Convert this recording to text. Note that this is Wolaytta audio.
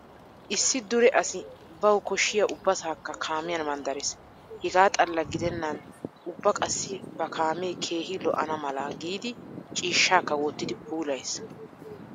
Issi dure asi bawu koshshiya ubbasaakka kaamiyan manddarees. Hegaa xalla gidennan ubba qassi ba kaamee keehi lo'ana mala giidi ciishshaakka wottidi puulayees.